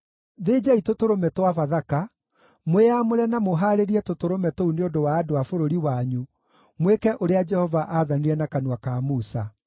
Thĩnjai tũtũrũme twa Bathaka, mwĩamũre na mũhaarĩrie tũtũrũme tũu nĩ ũndũ wa andũ a bũrũri wanyu, mwĩke ũrĩa Jehova aathanire na kanua ka Musa.”